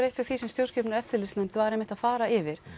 eitt af því sem stjórnskipunar og eftirlitsnefnd var einmitt að fara yfir